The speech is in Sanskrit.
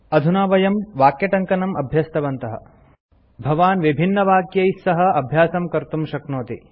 अधुना वयं वाक्यटङ्कनं अभ्यस्तवन्तः भवान् विभिन्नवाक्यैः सह अभ्यासं कर्तुं शक्नोति